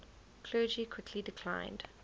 clergy quickly declined